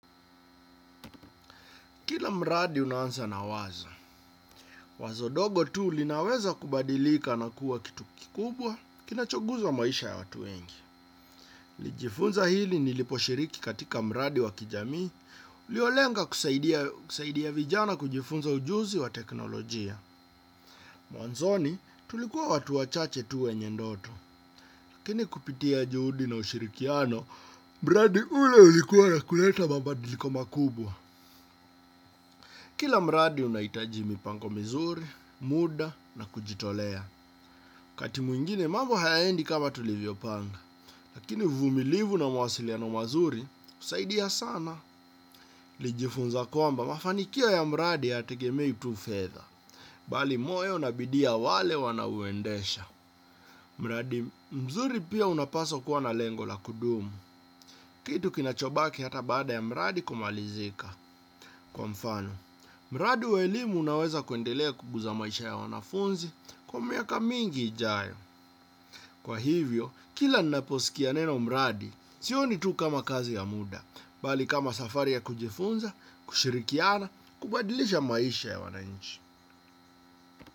Kila mradi unaanza na wazo, wazo dogo tu linaweza kubadilika na kuwa kitu kikubwa kinachoguza maisha ya watu wengi. Nilijifunza hili niliposhiriki katika mradi wa kijamii, uliolenga kusaidia vijana kujifunza ujuzi wa teknolojia. Mwanzoni tulikuwa watu wachache tu wenye ndoto, lakini kupitia juhudi na ushirikiano, mradi ule ulikuwa na kuleta mabadiliko makubwa. Kila mradi unahitaji mipango mizuri, muda na kujitolea. Wakati mwingine mambo hayaendi kama tulivyo panga. Lakini uvumilivu na mawasiliano mazuri, husaidia sana. Nilijifunza kwamba, mafanikio ya mradi hayategemei tu fedha. Bali moyo na bidii ya wanaouendesha. Mradi, mzuri pia unapaswa kuwa na lengo la kudumu. Kitu kinachobaki hata baada ya mradi kumalizika. Kwa mfano, mradi wa elimu unaweza kuendelea kuguza maisha ya wanafunzi kwa miaka mingi ijayo. Kwa hivyo, kila ninaposikia neno mradi, sioni tu kama kazi ya muda, bali kama safari ya kujifunza, kushirikiana, kubadilisha maisha ya wanainchi.